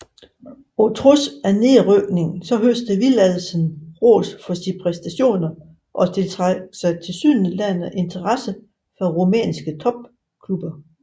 På trods af nedrykningen høstede Villadsen ros for sine præstationer og tiltrak sig tilsyneladende interesse fra rumænske topklubber